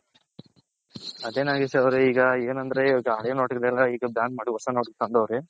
ಅದೆ ನಾಗೇಶ್ ಅವ್ರೆ ಈಗ ಏನಂದ್ರೆ ಈವಾಗ ಹಳೆ note ಎಲ್ಲಾ ಈಗ ban ಮಾಡಿ ಈಗ ಹೊಸ note ತಂದವ್ರೆ.